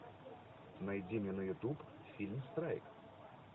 найди мне на ютуб фильм страйк